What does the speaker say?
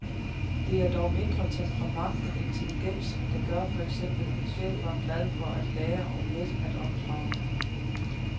Det er dog mindre temperament end intelligens, der gør for eksempel schæferen glad for at lære og let at opdrage.